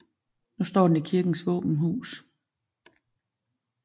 Nu står den i kirkens våbenhus